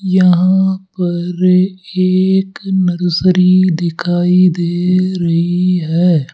यहां पर एक नर्सरी दिखाई दे रही है।